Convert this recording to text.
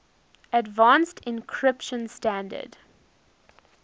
advanced encryption standard